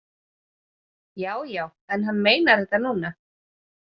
Já, já, en hann meinar þetta núna.